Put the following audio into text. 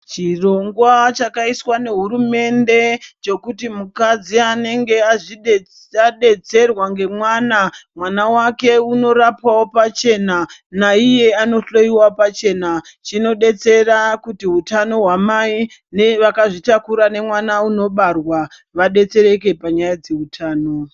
Chirongwa chakaiswa nehurumende chokuti mukadzi anenge adetserwa ngemwana, mwana wake unorapwawo pachena naiye anohloyiwa pachena chinodetsera kuti hutano hwamai vakazvitakura nemwana unobarwa vedetsereke panyaye dzeutano.